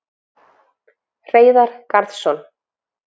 Hreiðar Garðsson,